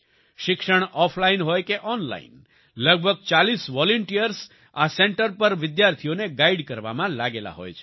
શિક્ષણ ઓફલાઈન હોય કે ઓનલાઈન લગભગ 40 વોલન્ટિયર્સ આ સેન્ટર પર વિદ્યાર્થીઓને ગાઈડ કરવામાં લાગેલા હોય છે